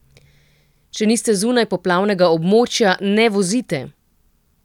Če niste zunaj poplavnega območja, ne vozite!